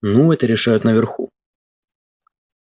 ну это решают наверху